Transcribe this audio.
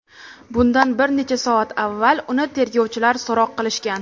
Bundan bir necha soat avval uni tergovchilar so‘roq qilishgan.